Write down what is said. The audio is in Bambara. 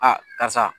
A karisa